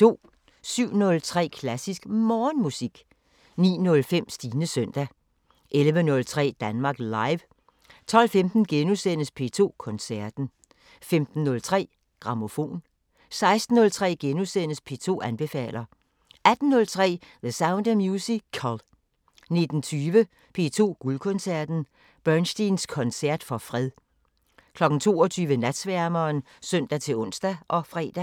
07:03: Klassisk Morgenmusik 09:05: Stines søndag 11:03: Danmark Live 12:15: P2 Koncerten * 15:03: Grammofon 16:03: P2 anbefaler * 18:03: The Sound of Musical 19:20: P2 Guldkoncerten: Bernsteins koncert for fred 22:00: Natsværmeren (søn-ons og fre)